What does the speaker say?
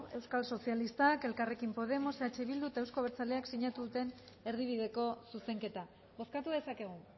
euskal sozialistak elkarrekin podemos eh bildu eta euzko abertzaleak sinatu duten erdibideko zuzenketa bozkatu dezakegu